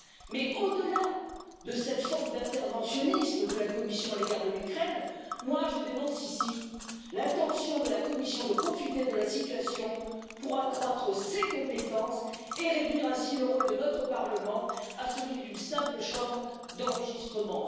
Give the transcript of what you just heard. Mais au delà de cette forme d'interventionnisme de la Commission à l'égard de l'Ukraine, je dénonce ici l'intention de la Commission de profiter de la situation pour accroître ses compétences et réduire ainsi le rôle de notre Parlement à celui d'une simple chambre d'enregistrement.